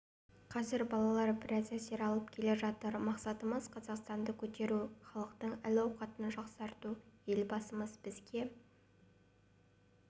қазір балалар біраз әсер алып келе жатыр мақсатымыз қазақстанды көтеру халықтың әл-ауқатын жақсарту елбасымыз бізге